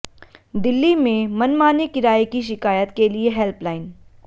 दिल्ली में मनमाने किराये की शिकायत के लिए हेल्पलाइन